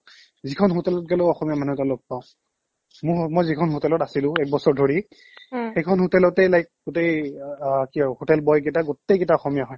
যিখন hotel ত গেলো অসমীয়া মানুহ এটা লগ পাও মোৰ মই যিখন hotel ত আছিলো একবছৰ ধৰি সেইখন hotel য়ে like গোটে অ কি আৰু hotel boy কিটা গোটেই কিটা অসমীয়া হয়